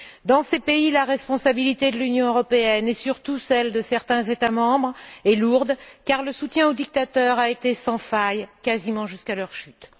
Dans ces pays, la responsabilité de l'Union européenne, et surtout celle de certains États membres, est lourde, car le soutien aux dictateurs a été sans faille, quasiment jusqu'à leur chute.